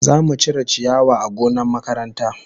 Za mu cire ciyawa a gonna makaranta.